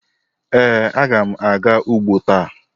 Ee, agam aga ugbo ta.